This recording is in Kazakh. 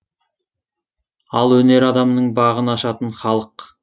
ал өнер адамының бағын ашатын халық